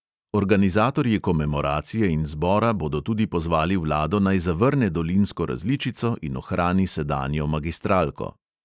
Organizatorji komemoracije in zbora bodo tudi pozvali vlado, naj zavrne dolinsko različico in ohrani sedanjo magistralko.